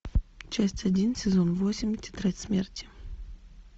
часть один сезон восемь тетрадь смерти